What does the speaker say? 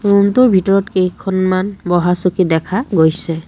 Room টোৰ ভিতৰত কেইখনমান বহা চকী দেখা গৈছে।